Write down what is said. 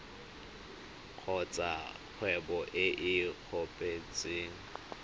kgotsa kgwebo e e kopetsweng